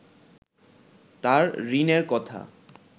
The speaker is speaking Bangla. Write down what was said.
তাঁর ঋণের কথা